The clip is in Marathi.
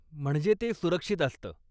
म्हणजे ते सुरक्षित असतं.